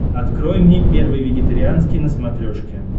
открой мне первый вегетарианский на смотрешке